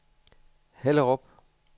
Hellerup